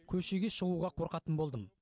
көшеге шығуға қорқатын болдым